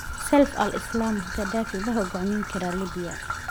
Saif al-Islam Gaddafi ma hogaamin karaa Liibiya?